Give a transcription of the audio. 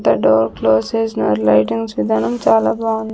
The door close చేసినారు lightings విధానం చాలా బాగుంది.